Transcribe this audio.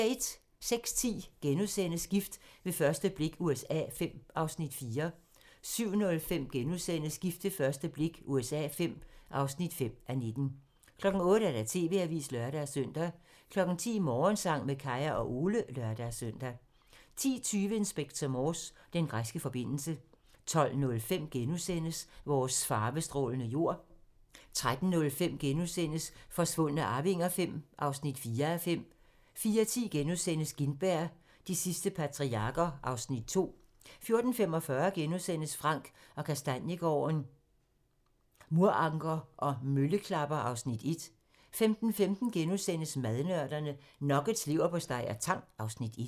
06:10: Gift ved første blik USA V (4:19)* 07:05: Gift ved første blik USA V (5:19)* 08:00: TV-avisen (lør-søn) 10:00: Morgensang med Kaya og Ole (lør-søn) 10:20: Inspector Morse: Den græske forbindelse 12:05: Vores farvestrålende jord * 13:05: Forsvundne arvinger V (4:5)* 14:10: Gintberg - de sidste patriarker (Afs. 2)* 14:45: Frank & Kastaniegaarden - Muranker og mølleklapper (Afs. 1)* 15:15: Madnørderne - Nuggets, leverpostej og tang (Afs. 1)*